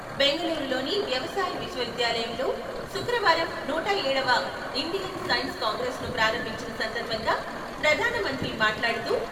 బెంగళూరు లోని వ్యవసాయ విశ్వవిద్యాలయంలో శుక్రవారం నూట ఏడవ ఇండియన్ సైన్స్ కాంగ్రెస్ ను ప్రారంభించిన సందర్భంగా ప్రధానమంత్రి మాట్లాడుతూ..